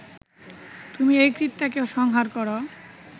তুমি এই কৃত্যাকে সংহার কর